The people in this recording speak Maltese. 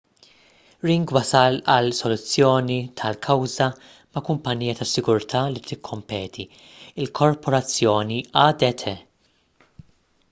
ring wasal għal soluzzjoni ta' kawża ma' kumpanija tas-sigurtà li tikkompeti il-korporazzjoni adt